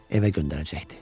Evə göndərəcəkdi.